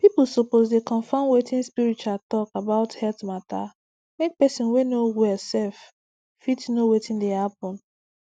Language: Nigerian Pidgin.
people suppose dey confirm watin spiritual talk about health matamake person whey no well self fit know watin dey happen